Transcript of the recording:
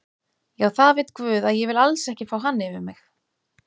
Já það veit guð að ég vil alls ekki fá hann yfir mig.